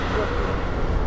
Gördüyün yoxdur.